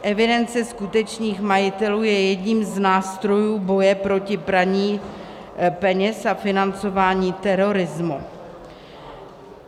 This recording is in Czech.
Evidence skutečných majitelů je jedním z nástrojů boje proti praní peněz a financování terorismu.